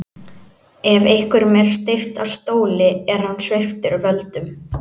Ef einhverjum er steypt af stóli er hann sviptur völdum.